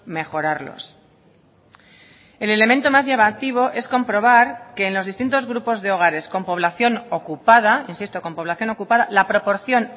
mejorarlos el elemento más llamativo es comprobar que en los distintos grupos de hogares con población ocupada insisto con población ocupada la proporción